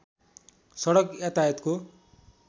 सडक यातायातको